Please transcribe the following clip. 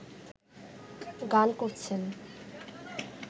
গান করছেন